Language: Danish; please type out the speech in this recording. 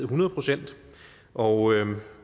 hundrede procent og